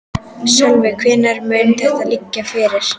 Sölvi: Og hvenær mun þetta liggja fyrir?